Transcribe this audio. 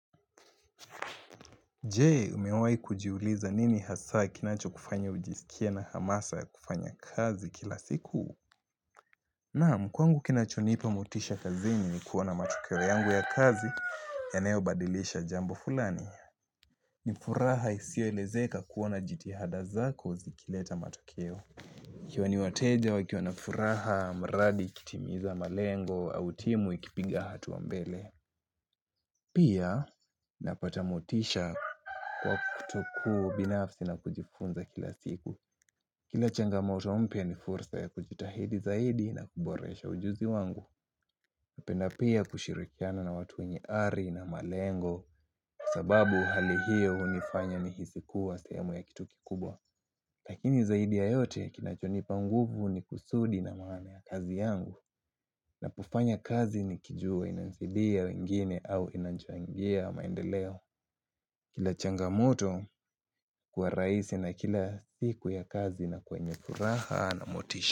Je, umewahi kujiuliza nini hasa kinachokufanya ujisikie na hamasa ya kufanya kazi kila siku? Nam, kwangu kinachonipa motisha kazini ni kuona matokeo yangu ya kazi yanayobadilisha jambo fulani. Ni furaha isioelezeka kuona jitihada zako zikileta matokeo. Ikiwa wateja wakiwa na furaha mradi ikitimiza malengo au timu ikipiga hatua mbele. Pia napata motisha kwa kutoku binafsi na kujifunza kila siku Kila changamoto mpya ni fursa ya kujitahidi zaidi na kuboresha ujuzi wangu Napenda pia kushirikiana na watu wenye ari na malengo Kwa sababu hali hiyo hunifanya nihisi kuwa sehemu ya kitu kikubwa Lakini zaidi ya yote kinachonipa nguvu ni kusudi na maana ya kazi yangu Ninapofanya kazi nikijua inanisidia wengine au inanichangia maendeleo Kila changamoto huwa rahisi na kila siku ya kazi inakuwa yenye furaha na motisha.